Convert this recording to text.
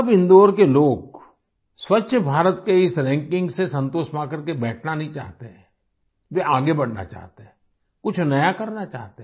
अब इंदौर के लोग स्वच्छ भारत के इस रैंकिंग से संतोष पा कर के बैठना नहीं चाहते हैं वे आगे बढ़ना चाहते हैं कुछ नया करना चाहते हैं